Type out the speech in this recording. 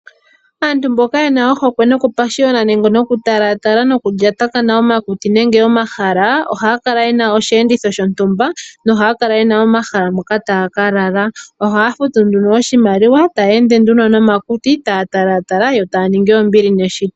Aantu mboka yena ohokwe noku pashiona nenge talatala nokulyatakana omakuti nenge omahala, ohaa kala yena osheenditho shontumba, nohaakala yena omahala mpoka taa ka lala ohaya futu nduno oshimaliwa ta ya ende nduno nomakuti, ta ya talaatala yo taya ningi ombili neshito.